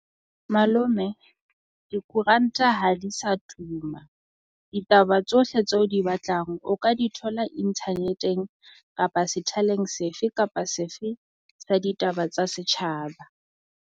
Malome dikoranta ha di sa tuma, ditaba tsohle tse o di batlang o ka di thola internet-eng kapa sethaleng sefe kapa sefe tsa ditaba tsa setjhaba.